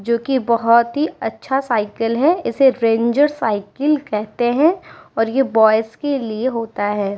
जो भी बहुत ही अच्छा साइकिल है। इसे रेंजर साइकिल कहते हैं और ऐ बॉयज के लिए होता है।